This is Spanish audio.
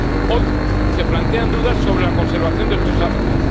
Hoy se plantean dudas sobre la conservación de estos hábitats